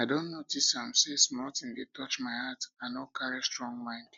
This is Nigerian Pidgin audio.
i don notice say small thing dey touch my heart i no carry strong mind